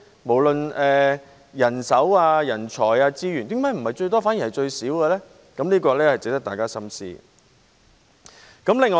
無論是人手、人才或資源方面，為何不是最高，反而是最少呢？